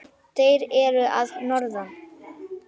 Þeir eru að norðan.